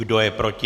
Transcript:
Kdo je proti?